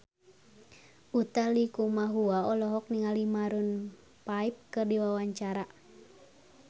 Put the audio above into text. Utha Likumahua olohok ningali Maroon 5 keur diwawancara